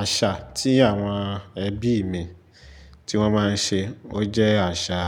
Àṣà tí àwọn ẹbí mi tí wọ́n máa ń ṣe, ó jẹ́ àṣà